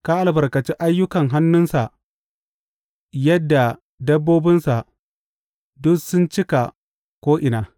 Ka Albarkaci ayyukan hannunsa yadda dabbobinsa duk sun cika ko’ina.